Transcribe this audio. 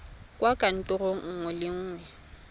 kwa kantorong nngwe le nngwe